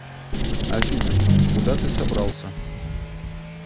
афина куда ты собрался